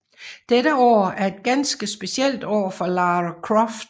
Dette år er et ganske specielt år for Lara Croft